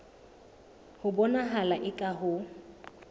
ho bonahala eka ha ho